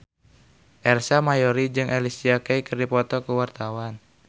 Ersa Mayori jeung Alicia Keys keur dipoto ku wartawan